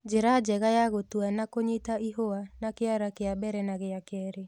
Njĩra njega ya gũtua ni kũnyita ihũa na kĩara kĩa mbere na gĩa kerĩ